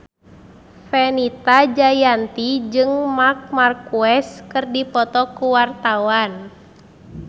Fenita Jayanti jeung Marc Marquez keur dipoto ku wartawan